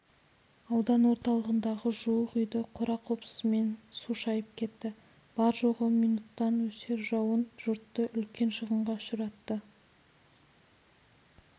аудан орталығындағы жуық үйді қора-қопсысымен су шайып кетті бар-жоғы минуттан өсер жауын жұртты үлкен шығынға ұшыратты